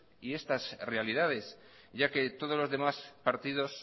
y estas realidades ya que todos los demás partidos